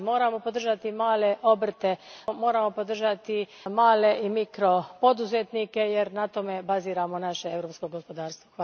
Znači, moramo podržati male obrte, moramo podržati male i mikro poduzetnike jer na tome baziramo naše europsko gospodarstvo.